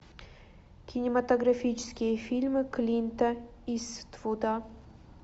кинематографические фильмы клинта иствуда